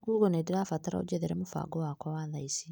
Gugo nĩndĩrabatara ũnjethere mũbango wakwa wa thaa ici.